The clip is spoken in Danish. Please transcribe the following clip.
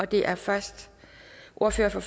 det er først ordføreren